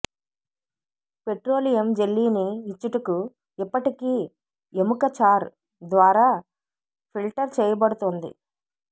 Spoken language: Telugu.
పెట్రోలియం జెల్లీని ఇచ్చుటకు ఇప్పటికీ ఎముక చార్ ద్వారా ఫిల్టర్ చేయబడుతుంది